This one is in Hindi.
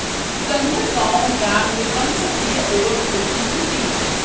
कन्हरगांव डेम में बन सकती है ओवरफ्लो की स्थिति